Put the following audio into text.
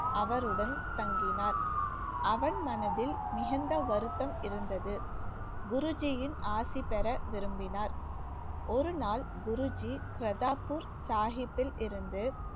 அவருடன் தங்கினார் அவன் மனதில் மிகுந்த வருத்தம் இருந்தது குருஜியின் ஆசி பெற விரும்பினார் ஒருநாள் குருஜி கிரத்தாப்பூர் சாகிப்பில் இருந்து